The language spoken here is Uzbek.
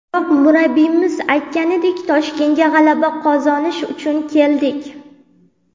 Biroq, murabbiyimiz aytganidek, Toshkentga g‘alaba qozonish uchun keldik.